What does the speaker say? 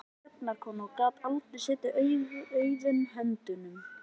Hún var mikil dugnaðarkona og gat aldrei setið auðum höndum.